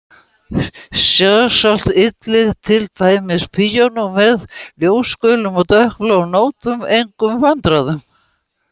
Sjálfsagt ylli til dæmis píanó með ljósgulum og dökkbláum nótum engum vandræðum.